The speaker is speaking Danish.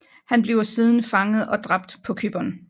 Han bliver siden fanget og dræbt på Cypern